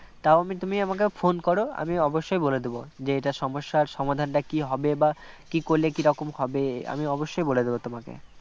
তাও আমি তুমি আমাকে phone করো আমি অবশ্যই বলে দেব যে এটার সমস্যার সমাধান কী হবে বা কী করলে কী রকম হবে আমি অবশ্যই বলে দেবো তোমাকে